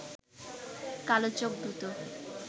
কালো চোখ দুটো